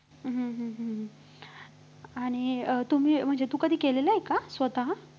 हम्म हम्म हम्म आणि अं तुम्ही म्हणजे तू कधी केलेलं आहे का स्वतः?